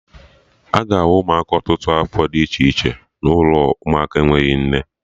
Aga ahụ Ụmụaka ọtụtụ afọ dị iche n'ụlọ ụmụaka enweghị nne